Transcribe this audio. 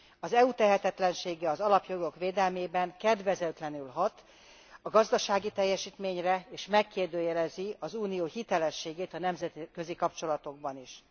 Az EU tehetetlensége az alapjogok védelmében kedvezőtlenül hat a gazdasági teljesítményre, és megkérdőjelezi az Unió hitelességét a nemzetközi kapcsolatokban is.